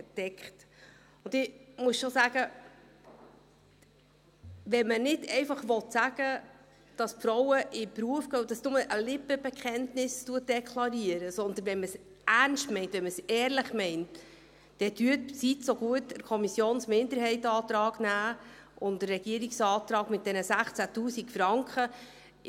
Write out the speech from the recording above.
Ich muss schon sagen: Wenn man nicht einfach sagen will, dass die Frauen in den Beruf gehen sollen und dies nur ein Lippenbekenntnis ist, sondern wenn man es ernst meint, wenn man es ehrlich meint, dann nehmen Sie bitten den Antrag der Kommissionsminderheit und des Regierungsrates mit diesen 16 000 Franken an.